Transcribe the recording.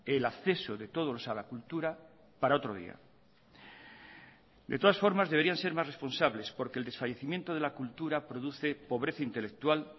el acceso de todos a la cultura para otro día de todas formas deberían ser más responsables porque el desfallecimiento de la cultura produce pobreza intelectual